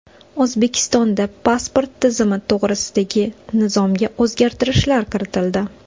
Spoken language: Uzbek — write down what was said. O‘zbekistonda pasport tizimi to‘g‘risidagi nizomga o‘zgartirishlar kiritildi.